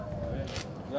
Ayda!